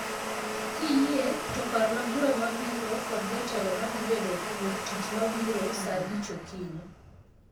Kiyie to parna bura mabiro kod jatelo madhi bedo wuoktich mabiro saa abich okinyi.